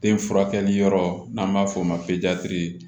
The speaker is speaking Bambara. Den furakɛli yɔrɔ n'an b'a f'o ma